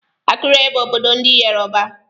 Akure bụ obodo ndị Yoruba.